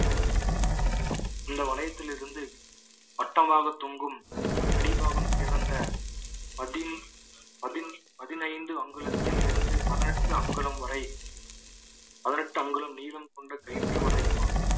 இந்த வளையத்தில் இருந்து வட்டமாக தொங்கும் அடிப்பாகம் திறந்த பதி~ பதின~ பதினைந்து அங்குலத்தில் இருந்து பதினெட்டு அங்குலம் வரை பதினெட்டு அங்குலம் நீளம் கொண்ட கயிற்று வலையும் ஆகும்